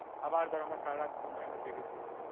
আবার ধরে আমার সারারাত ঘুম হয়নি জেগেছিলাম